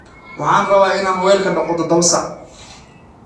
Waxaan rabaa in aan weelka dhaqo todobada saac